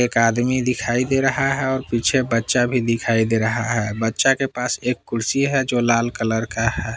एक आदमी दिखाई दे रहा है और पीछे बच्चा भी दिखाई दे रहा है बच्चा के पास एक कुर्सी है जो लाल कलर का है।